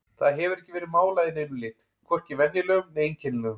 Það hefur ekki verið málað í neinum lit, hvorki venjulegum né einkennilegum.